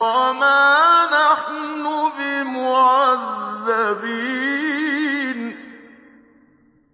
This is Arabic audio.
وَمَا نَحْنُ بِمُعَذَّبِينَ